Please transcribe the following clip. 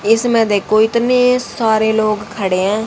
इसमें देखो इतने सारे लोग खड़े हैं।